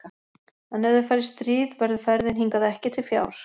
En ef þeir fara í stríð verður ferðin hingað ekki til fjár.